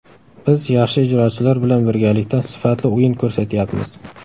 Biz yaxshi ijrochilar bilan birgalikda sifatli o‘yin ko‘rsatyapmiz.